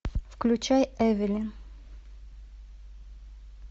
включай эвелин